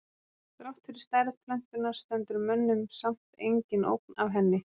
Þrátt fyrir stærð plöntunnar stendur mönnum samt engin ógn af henni.